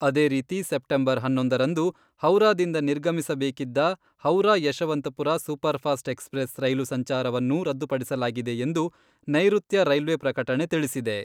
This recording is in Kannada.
ಅದೇ ರೀತಿ ಸೆಪ್ಟೆಂಬರ್ ಹನ್ನೊಂದರಂದು ಹೌರಾದಿಂದ ನಿರ್ಗಮಿಸಬೇಕಿದ್ದ ಹೌರಾ ಯಶವಂತಪುರ ಸೂಪರ್ಫಾಸ್ಟ್ ಎಕ್ಸ್ಪ್ರೆಸ್ ರೈಲು ಸಂಚಾರವನ್ನೂ ರದ್ದುಪಡಿಸಲಾಗಿದೆ ಎಂದು ನೈರುತ್ಯ ರೈಲ್ವೆ ಪ್ರಕಟಣೆ ತಿಳಿಸಿದೆ.